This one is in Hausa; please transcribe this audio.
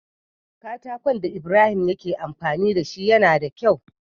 Katakon da ibrahim yake amfani dashi yAna da kyau